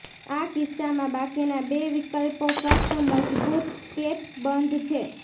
આ કિસ્સામાં બાકીના બે વિકલ્પો ફક્ત મજબૂત કેપ્સ બંધ છે